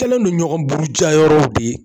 Kɛlen don ɲɔgɔn burujayɔrɔw de ye